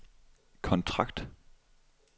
kontrakt